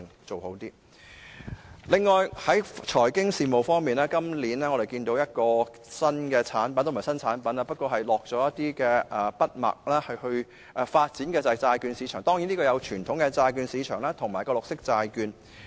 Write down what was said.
此外，在財經事務方面，預算案提到一個新產品——也不是新產品了，只是進一步發展——就是債券市場，包括傳統的債券市場及綠色債券。